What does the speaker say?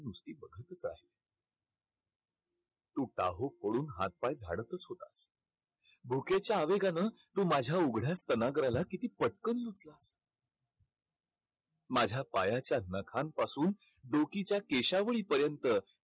तू टाहो फोडून हात-पाय झाडतच होतास. भुकेच्या आवेगानं तू माझ्या उघड्या स्तनाग्राला किती पटकन माझ्या पायाच्या नखांपासून डोकीच्या केशावळीपर्यंत